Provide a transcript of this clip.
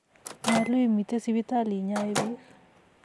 nyolun imite sipitali inyoi biik